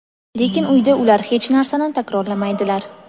lekin uyda ular hech narsani takrorlamaydilar.